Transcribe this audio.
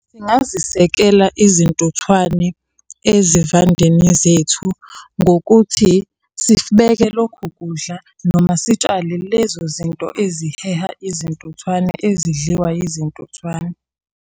Singazisekela izintuthwane ezivandeni zethu, ngokuthi sibeke lokhu kudla noma sitshale lezo zinto eziheha izintuthwane ezidliwa yizintuthwane.